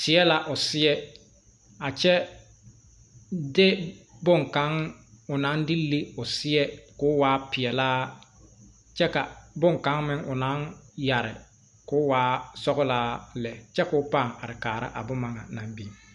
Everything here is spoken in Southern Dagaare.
teɛ la o seɛ a kyɛ de bonkaŋ o naŋ de le o seɛ k,o waa peɛlaa kyɛ ka bonkaŋ o naŋ yɛre k,o waa sɔglaa lɛ kyɛ k,o paa are kaara a boma ŋa naŋ biŋ